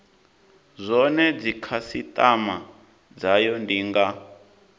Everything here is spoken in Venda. zwone dzikhasitama dzayo ndi nga